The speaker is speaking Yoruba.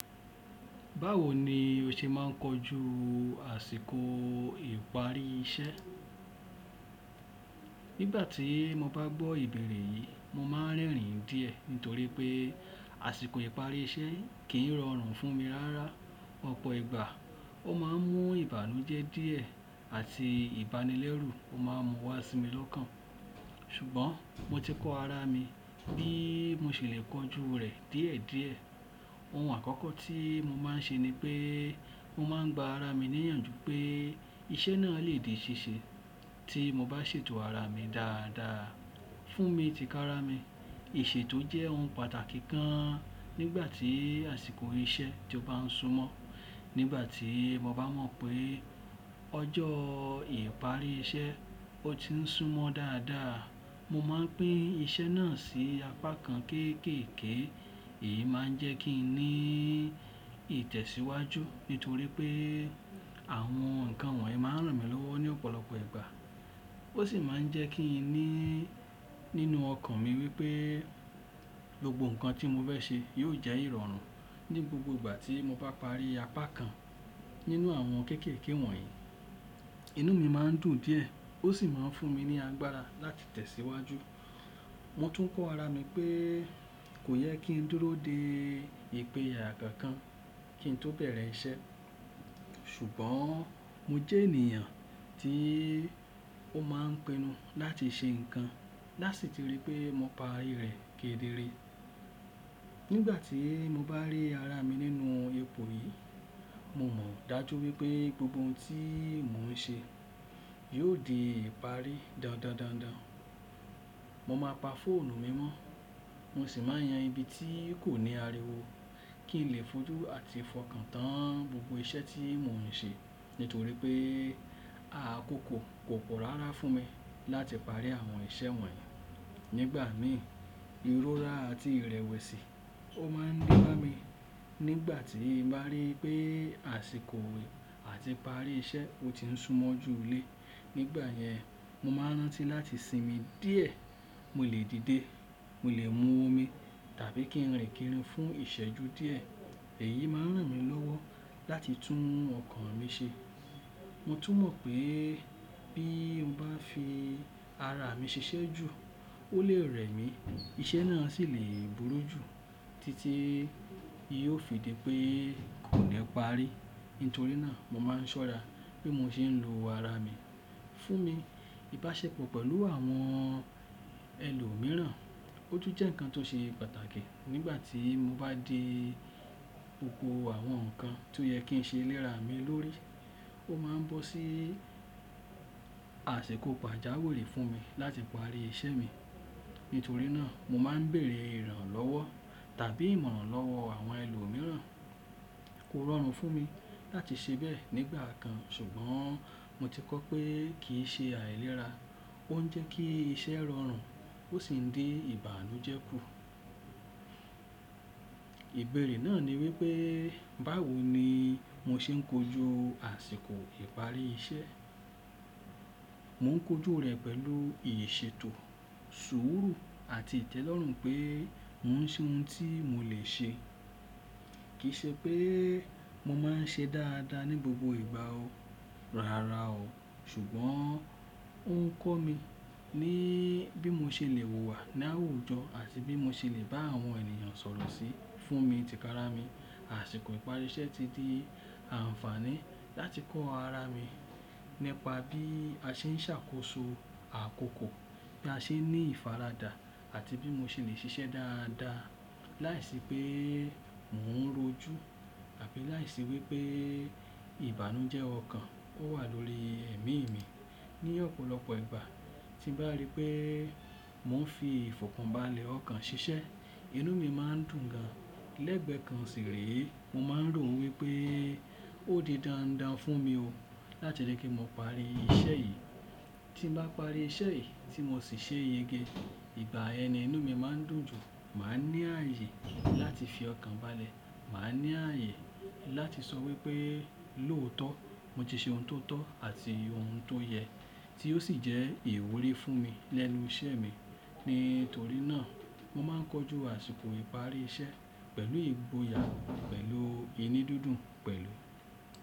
Báwo ni o ṣe máa ń kojú àsìkò ìparí iṣẹ́? Nígbà tí mo bá gbọ́ ìbéèrè yìí, mo máa ń rẹ́rìn díẹ̀ nítorí pé àsìkò ìparí iṣẹ́ kì í rọrùn fún mi rárá. Ọ̀pọ̀ ìgbà ó máa ń mú ìbànújẹ́ díẹ̀ àti ìbánilẹ́rù ó máa ń mú wá sí mi lọ́kàn. Ṣùgbọ́n mo ti kọ ara mi bí mo ṣe lè kojú rẹ̀ díẹ̀díẹ̀. Ohun àkọ́kọ́ tí mo máa ń ṣe ni pé mo máa ń gba ara mi níyànjú pé iṣẹ́ náà lè di ṣíṣe tí mo bá ṣètò ara mi dáadáa. Fún mi ti kára mi, ìṣètò jẹ́ ohun pàtàkì kan nígbà tí àsìkò iṣẹ́ ti ó bá ń súmọ́. Nígbà tí mo bá mọ̀ pé ọjọ́ ìparí iṣẹ́ ó ti ń súmọ dáadáa, mo máa pín iṣẹ́ náà sí apá kan kekeke. Èyí máa ń jẹ́ kí n ní ìtẹ̀síwájú nítorí pé àwọn nǹkan wọ̀nyí máa ń ràn mí lọ́wọ́ ní ọ̀pọ̀lọpọ̀ ìgbà. Ó sì máa ń jẹ́ kí n ní nínú ọkàn mi wípé gbogbo nǹkan tí mo fẹ́ ṣe yóò jẹ́ ìrọ̀rùn. Ni gbogbo ìgbà tí mo bá parí apá kan nínú àwọn kékeke wọ̀nyí, inú mi máa ń dùn díẹ̀ ó sì máa ń fún mi ní agbára láti tẹ̀síwájú. Mo tún kọ́ ara mi pé kò yẹ kí n dúró de ìpèya kankan kí n tó bẹ̀rẹ̀ iṣẹ́. Ṣùgbọ́n mo jẹ́ ènìyàn tí ó máa ń pinnu láti ṣe nǹkan láti ti rí i pé mo pa rẹ̀ ké de re. Nígbà tí mo bá rí ara mi nínú ipo yìí, mo mọ̀ dájú wípé gbogbo ohun tí mò ń ṣe yóò di ìparí dándandan Mo máa pa fóònù mi mọ́, mo sì máa yan ibi tí kò ní ariwo kí n lè fojú àti fọkàn tán gbogbo iṣẹ́ tí mò ń ṣe nítorí pé àkókò kò pọ̀ rárá fún mi láti parí àwọn iṣẹ́ wọ̀nyí. Nígbà mi, ìrórá àti ìrẹ̀wẹ̀sì ó máa ń de bá mi nígbà tí màá rí pé àsìkò àti ìparí iṣẹ́ ó ti ń súmọ́ jù ú le. Nígbà yẹn, mo máa rántí láti sinmi díẹ̀. Mo lè dìde, mo lè mú omi tàbí kí n rìn kiri fún ìṣẹ́jú díẹ̀. Èyí máa ń ràn mí lọ́wọ́ láti tún ọkàn mi ṣe. Mo tún mọ̀ pé bí mo bá fi ara mi ṣiṣẹ́ jù ó lè rẹ̀ mí, iṣẹ́ náà sì lè burú jù títí tí yóò fi di pé kò ni pa ri Nítorí náà mo máa ń ṣọ́ra bi mo ṣe ń lo ara mi. Fún mi, ìbáṣepọ̀ pẹ̀lú àwọn ẹlòmíràn, ó tún jẹ́ nǹkan tó ṣe pàtàkì. Nígbà tí mo bá dé oko àwọn nǹkan tó yẹ kí n ṣe léra mi lórí, ó máa ń bọ́ sí àṣikò pàjáwìrì fún mi láti parí iṣẹ́ mi. Nítorí náà mo máa ń bèèrè ìrànlọ́wọ́ tàbí ìmọ̀ràn lọ́wọ́ àwọn ẹlòmíràn. Kò rọrùn fún mi láti ṣe bẹ́ẹ̀ nígbà kan ṣùgbọ́n mo ti kọ́ pé kì í ṣe àìlera. Ó ń jẹ́ kí iṣẹ́ rọrùn ó sì ń dí ìbànújẹ́ kù. Ìbéèrè náà ni wípé báwo ni mo ṣe ń kojú àsìkò ìparí iṣẹ́? Mò ń kojú rẹ̀ pẹ̀lú ìṣètò, sùúrù àti ìtẹ́lọ́rùn pé mò ń ṣe ohun tí mo lè ṣe. Kì í ṣe pé mo máa ń ṣe dáadáa ní gbogbo ìgbà o, rárá o. Ṣùgbọ́n ó ń kọ́ mi ní bí mo ṣe lè wùwà ní àwùjọ àti bí mo ṣe lè bá àwọn ènìyàn sọ̀rọ̀ sí. Fún mi ti kára mi, àsìkò ìparí iṣẹ́ ti di àǹfààní láti kọ́ ara mi nípa bí a ṣe ń ṣàkóso àkókò, bí a ṣe ń ní ìfaradà àti bí mo ṣe lè ṣiṣẹ́ dáadáa lai se pe mo ro ju, tabi lai se wi pe ìbànújẹ́ ọkàn ó wà lórí ẹ̀mí mi. Ni ọ̀pọ̀lọpọ̀ ìgbà tí bàá rí pé mò ń fi ìfọkànbalẹ̀ ọkàn ṣiṣẹ́, inú mi máa ń dùn gan. Lẹ́gbẹ̀ẹ́ kan sì rèé mo máa ń rò wípé ó di dandan fún mi o láti lè je ki mo parí iṣẹ́ yìí. Tí bàá parí iṣẹ́ yìí tí mò sì ṣe yege, ìgbà yen inú mi máa ń dùn jù. Màá ní ààyè láti fi ọkàn balẹ̀, màá ní ààyè láti sọ wípé lóòótọ́ mo ti ṣe ohun tó tọ́ àti ohun tó yẹ tí ó sì jẹ́ ìwúrí fún mi lẹ́nu iṣẹ́ mi. Nítorí náà mo máa ń kojú àsìkò ìparí iṣẹ́ pẹ̀lú ìgboya, pẹ̀lú inú dúdú, pẹ̀lú.